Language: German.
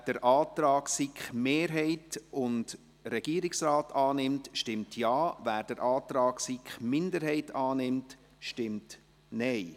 Wer den Antrag von SiK-Mehrheit und Regierung annimmt, stimmt Ja, wer den Antrag der SiK-Minderheit annimmt, stimmt Nein.